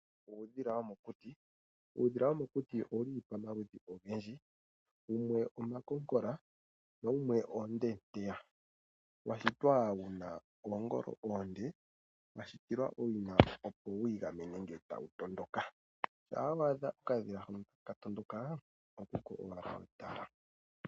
Uudhila womokuti Uudhila womokuti owu li pamaludhi ogendji. Wumwe omakonkola nawumwe oondeeteya, wa shitwa wu na oongolo oonde, wa shitilwa owina, opo wu igamene uuna tawu tondoka. Shampa wa adha okadhila hoka taka tondoka okuko owala wa hala okutala.